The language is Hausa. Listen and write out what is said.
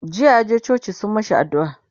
jiya yaje coci sun mashi addu'a